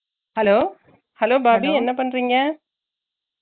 hello hello பாபி என்ன பண்றீங்க